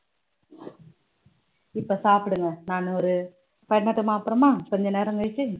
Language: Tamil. இப்ப சாப்பிடுங்க நான் ஒரு பண்ணட்டுமா அப்புறமா கொஞ்ச நேரம் கழிச்சு